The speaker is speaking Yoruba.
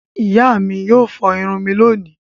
Ìyá mi yóò fọ irun mi lónìí.